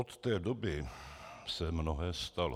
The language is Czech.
Od té doby se mnohé stalo.